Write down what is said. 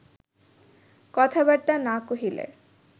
কথাবার্তা না কহিলে